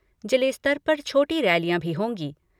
जिले के स्तर पर छोटी रैलियां भी होंगी।